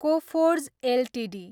Coforge Ltd